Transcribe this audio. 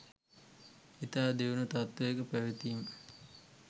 ඉතා දියුණු තත්ත්වයක පැවතීම